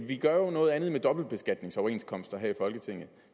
vi gør jo noget andet med dobbeltbeskatningsoverenskomster her i folketinget